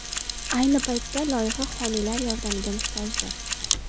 Ayni paytda loyiha homiylar yordamiga muhtojdir.